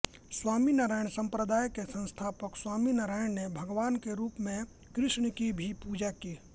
स्वामीनारायण संप्रदाय के संस्थापक स्वामीनारायण ने भगवान के रूप में कृष्ण की भी पूजा की